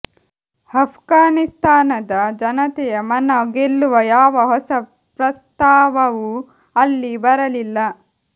ಅಫ್ಘಾನಿಸ್ತಾನದ ಜನತೆಯ ಮನ ಗೆಲ್ಲುವ ಯಾವ ಹೊಸ ಪ್ರಸ್ತಾವವೂ ಅಲ್ಲಿ ಬರಲಿಲ್ಲ